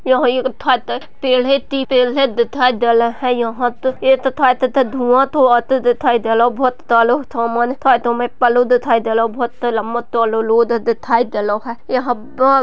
यहा एक ट्रैक्टर पेड़ दिखाई दे रहे है यह एक धुआ धुआ दिखाई दे रहे है बहुत सारा सामान मे दिखाई दे रहे है बहुत से लंबा रोड दिखाई दे रहा है यहा पर --